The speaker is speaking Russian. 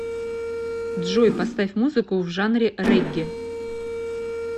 джой поставь музыку в жанре регги